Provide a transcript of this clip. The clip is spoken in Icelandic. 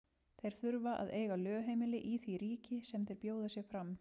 Þeir þurfa að eiga lögheimili í því ríki sem þeir bjóða sig fram.